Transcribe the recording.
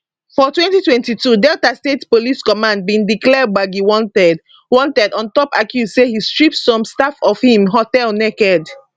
for 2022 delta state police command bin declare gbagi wanted wanted on top accuse say e strip some staff of im hotel naked